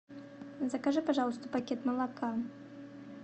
закажи пожалуйста пакет молока